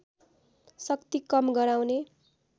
शक्ति कम गराउने